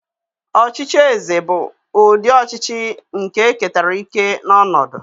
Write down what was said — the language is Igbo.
Ọchịchị eze bụ ụdị ọchịchị nke e ketara ike na ọnọdụ.